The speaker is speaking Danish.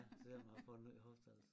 Ja selvom a har fået ny hofte altså